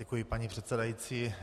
Děkuji, paní předsedající.